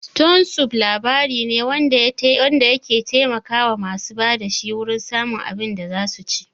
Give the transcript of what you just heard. Ston sup' labari ne wanda ya taimaka wa masu ba da shi wurin samun abin da zasu ci